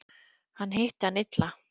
Hann hitti hann illa.